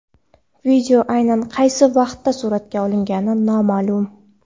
Video aynan qaysi vaqtda suratga olingani noma’lum.